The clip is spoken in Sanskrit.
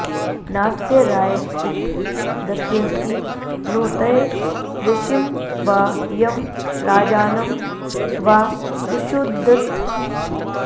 नास्य राय उप दस्यन्ति नोतय ऋषिं वा यं राजानं वा सुषूदथ